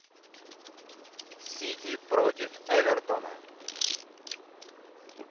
сити против эвертона